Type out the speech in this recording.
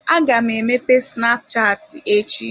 Aga m emepe snapchatị echi.